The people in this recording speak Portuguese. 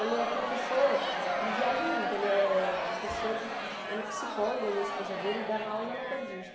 Ele é professor, eles viajam muito, ele é professor de psi ele é psicólogo, ele e a esposa dele, ele dava aula na metodista.